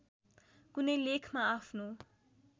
कुनै लेखमा आफ्नो